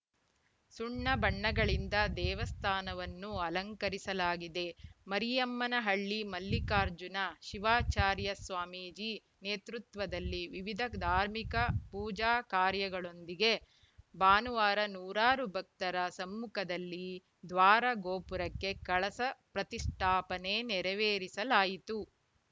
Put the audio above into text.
ಸುಣ್ಣ ಬಣ್ಣಗಳಿಂದ ದೇವಸ್ಥಾನವನ್ನು ಅಲಂಕರಿಸಲಾಗಿದೆ ಮರಿಯಮ್ಮನಹಳ್ಳಿ ಮಲ್ಲಿಕಾರ್ಜುನ ಶಿವಾಚಾರ್ಯ ಸ್ವಾಮೀಜಿ ನೇತೃತ್ವದಲ್ಲಿ ವಿವಿಧ ಧಾರ್ಮಿಕ ಪೂಜಾ ಕಾರ್ಯಗಳೊಂದಿಗೆ ಭಾನುವಾರ ನೂರಾರು ಭಕ್ತರ ಸಮ್ಮುಖದಲ್ಲಿ ದ್ವಾರ ಗೋಪುರಕ್ಕೆ ಕಳಸ ಪ್ರತಿಷ್ಠಾಪನೆ ನೆರವೇರಿಸಲಾಯಿತು